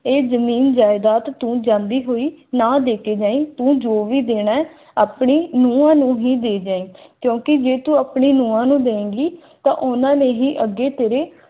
ਇਹ ਜ਼ਮੀਨ ਜਾਇਦਾਦ ਤੂੰ ਜਾਂਦੀ ਹੋਈ ਨਾ ਦੇ ਕੇ ਹੈ ਉਹ ਜੋ ਵੀ ਦੇਣਾ ਆਪਣੀ ਨੂੰਹ ਨੂੰ ਹੀਰ ਹੇਰੇ